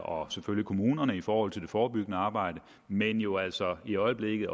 og selvfølgelig kommunerne i forhold til det forebyggende arbejde men jo altså i øjeblikket